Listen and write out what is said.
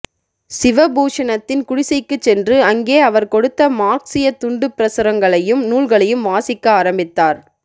சிவபூஷணத்தின் குடிசைக்குச் சென்று அங்கே அவர் கொடுத்த மார்க்ஸியத் துண்டுப்பிரசுரங்களையும் நூல்களையும் வாசிக்க ஆரம்பித்தார்